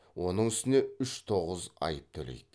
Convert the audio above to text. оның үстіне үш тоғыз айып төлейді